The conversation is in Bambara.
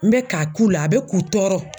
N bɛ ka k'u la a bɛ k'u tɔɔrɔ.